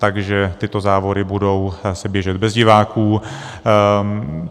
Takže tyto závody budou se běžet bez diváků.